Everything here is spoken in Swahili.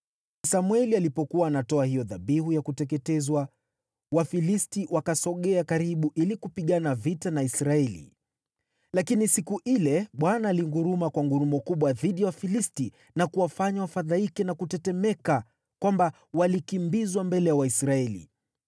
Samweli alipokuwa anatoa hiyo dhabihu ya kuteketezwa, Wafilisti wakasogea karibu ili kupigana vita na Israeli. Lakini siku ile Bwana alinguruma kwa ngurumo kubwa dhidi ya Wafilisti na kuwafanya wafadhaike na kutetemeka hivi kwamba walikimbizwa mbele ya Waisraeli.